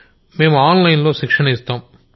మేం online లో శిక్షణ ఇస్తాం